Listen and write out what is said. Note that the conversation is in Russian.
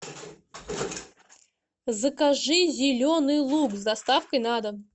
закажи зеленый лук с доставкой на дом